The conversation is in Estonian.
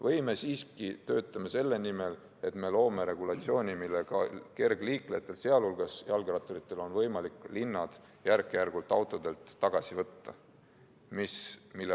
Või me siiski töötame selle nimel, et loome regulatsiooni, millega kergliiklejatel, sealhulgas jalgratturitel, oleks võimalik linnad järk-järgult autodelt tagasi võtta?